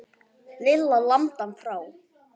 Lilla lamdi hann frá.